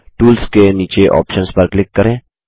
tools के नीचे options पर क्लिक करें